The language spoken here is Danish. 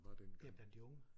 Ja blandt de unge